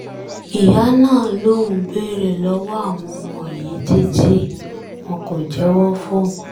ìyá náà lòun béèrè lọ́wọ́ àwọn ọmọ yìí títí wọn kò jẹ́wọ́ fóun